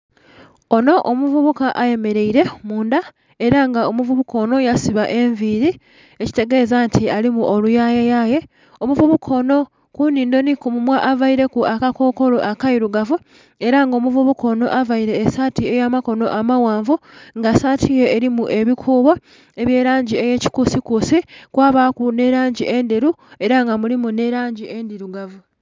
Onho omuvubuka ayemereire mundha era nga omuvubuka onho yasiba enviri ekitegez anti alimu oluyaye yaye. Omuvubuka onho kunhindho nhi ku munhwa avaireku aka kokolo akeirugavu era nga omuvubuka onho avaire esaati eya makono amaghanvu nga saati ye erimu ebikuubo ebya langi eye kikusi kusi kwabaku nhe langi endheru era nga mulimu nhe langi endhirugavu.